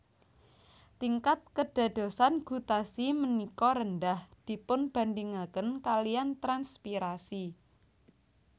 Tingkat kédadosan gutasi ménika rendah dipunbandingakén kaliyan transpirasi